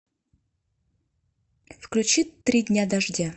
включи три дня дождя